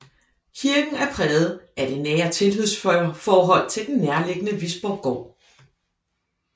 Kirken er præget af det nære tilhørsforhold til den nærliggende Visborggård